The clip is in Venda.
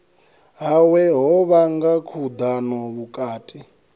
hawe ho vhanga khudano vhukati